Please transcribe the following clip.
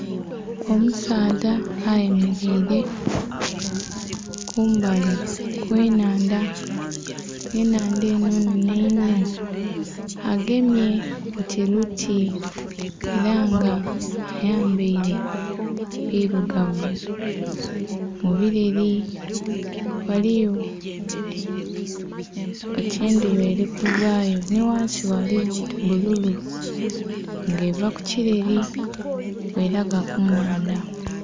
Omusaadha ayemeleile kumbali kw'ennhandha. Ennhandha enho nhenhe inho. Agemye oti luti ela nga ayambaile bilugavu. Mubileli ghaliyo oti endhuba eli kuvaayo nhi ghansi ghaligho oti bbululu, nga eva kukileli bwelaga ku nnhandha.